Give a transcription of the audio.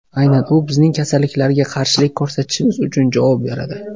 Aynan u bizning kasalliklarga qarshilik ko‘rsatishimiz uchun javob beradi!